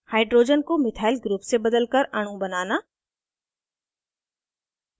* hydrogen को methyl group से बदलकर अणु बनाना